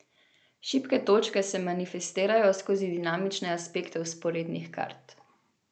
Šibke točke se manifestirajo skozi dinamične aspekte vzporednih kart.